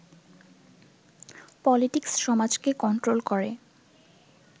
politics সমাজকে control করে